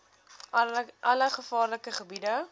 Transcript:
alle gevaarlike gebiede